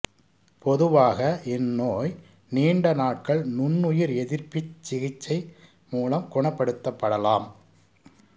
பொதுவாக இந்நோய் நீண்ட நாட்கள் நுண்ணுயிர் எதிர்ப்பிச் சிகிச்சை மூலம் குணப்படுத்தப்படலாம்